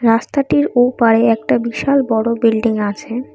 রাস্তাটির ওপারে একটা বিশাল বড় বিল্ডিং আছে।